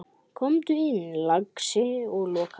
Komdu inn, lagsi, og lokaðu!